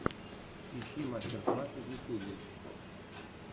ищи мастер классы в ютьюбе